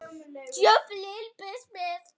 Vertu Pétur.